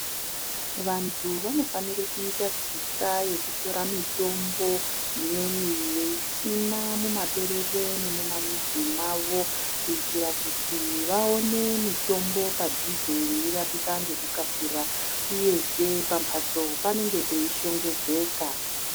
Vantu vanofanire kuita tsika yekutora mitombo imweni veisima mumaperere nemumamizi mavo kuitira kuti vaone mitombo padhuze veirapika ngekukasira uyezve pamhatso panenge peishongedzeka